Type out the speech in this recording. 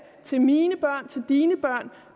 til mine børn til dine børn